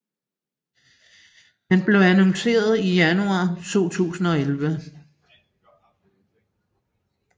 Den blev annonceret i januar 2011